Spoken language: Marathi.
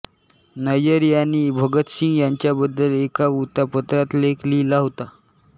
नय्यर यांनी भगतसिंग यांच्याबद्दल एका वृत्तपत्रात लेख लिहिला होता